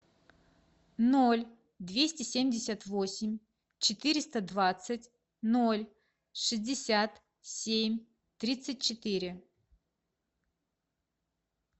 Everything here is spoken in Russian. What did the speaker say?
ноль двести семьдесят восемь четыреста двадцать ноль шестьдесят семь тридцать четыре